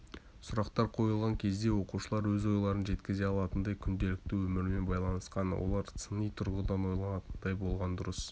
сұрақтар қойылған кезде оқушылар өз ойларын жеткізе алатындай күнделікті өмірмен байланысқан олар сыни тұрғыдан ойланатындай болғаны дұрыс